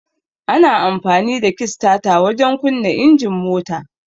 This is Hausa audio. Ana amfani da kistata wajen kunna injin mota.